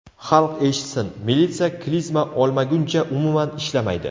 Xalq eshitsin, militsiya klizma olmaguncha umuman ishlamaydi.